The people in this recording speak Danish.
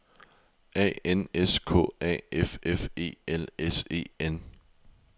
A N S K A F F E L S E N